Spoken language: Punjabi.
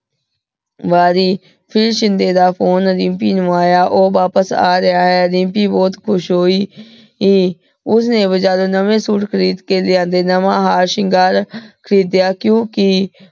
ਵਾਰੀ ਫਿਰ ਸ਼ਿੰਦੇ ਦਾ ਫੋਨੇ ਦਿਮ੍ਪੀ ਨੂ ਆਯਾ ਊ ਵਾਪਿਸ ਆ ਰਿਹਾ ਅ, ਦਿਮ੍ਪੀ ਬੋਹਤ ਖੁਸ਼ ਹੋਈ ਕੇ ਉਸਨੇ ਬਾਜਾਰੋੰ ਨਵੇ ਸੂਟ ਖਰੀਦ ਕੇ ਲਿਆਂਦੇ, ਨਵਾ ਹਾਰ ਸ਼ਿੰਗਾਰ ਖਾਰਿਦ੍ਯਾ ਕਿਓਂਕਿ